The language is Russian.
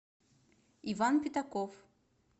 иван пятаков